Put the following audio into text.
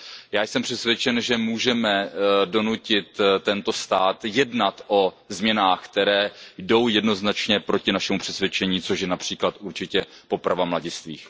Já jsem přesvědčen, že můžeme donutit tento stát jednat o změnách, které jdou jednoznačně proti našemu přesvědčení, což je například určitě poprava mladistvých.